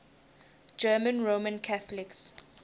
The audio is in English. german roman catholics